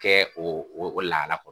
Kɛ o o lahala kɔnɔ